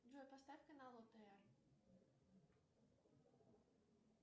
джой поставь канал отр